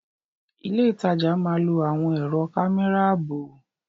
Ilé ìtajà máa lò àwọn ẹ̀rọ kámẹ́rà ààbò.